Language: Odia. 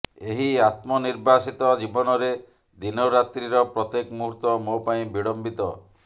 ଏହି ଆତ୍ମ ନିର୍ବାସିତ ଜୀବନରେ ଦିନରାତ୍ରିର ପ୍ରତ୍ୟେକ ମୁହୂର୍ତ୍ତ ମୋ ପାଇଁ ବିଡ଼ମ୍ୱିତ